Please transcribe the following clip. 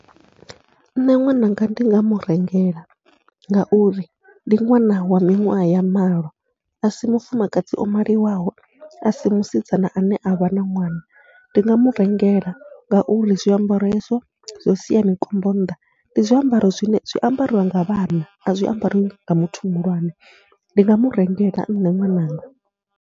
Nṋe ṅwananga ndi nga mu rengela ngauri ndi ṅwana wa miṅwaha ya malo a si mufumakadzi o maliwaho, a si musidzana ane a vha na ṅwana ndi ndi nga mu rengela ngauri zwiambaro hezwo zwo sia mikombo nnḓa ndi zwiambaro zwine zwi a ambariwa nga vhanna a zwi ambariwa nga muthu muhulwane. Ndi nga mu rengela nṋe ṅwananga.